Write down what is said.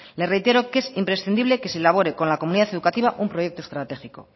le reitero que es imprescindible que se elabore con la comunidad educativa un proyecto estratégico